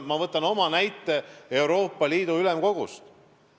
Ma toon näite Euroopa Liidu Ülemkogust.